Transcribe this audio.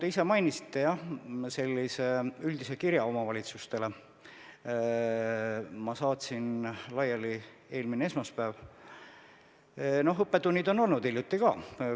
Näiteks mina palusin informatsiooni selle kohta, kas omavalitsused on oma ametnike käikude-reisimistega kursis ja teavad, kes on kusagil käinud, kes läheb kuhugi.